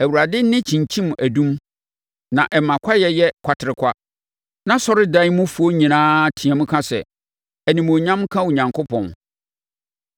Awurade nne kyinkyim adum na ɛma kwaeɛ yɛ kwaterekwa. Nʼasɔredan mufoɔ nyinaa team ka sɛ, “Animuonyam nka Onyankopɔn!”